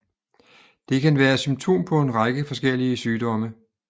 Det kan være symptom på en række forskellige sygdomme